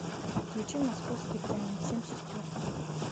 включи московские тайны семь сестер